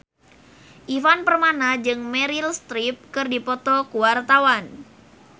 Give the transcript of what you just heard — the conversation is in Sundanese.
Ivan Permana jeung Meryl Streep keur dipoto ku wartawan